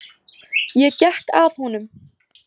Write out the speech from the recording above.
Ég gekk að honum.